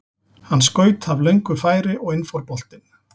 Hann skaut af löngu færi og inn fór boltinn.